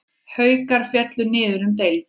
Haukar féllu niður um deild.